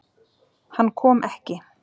Hann kom ekki.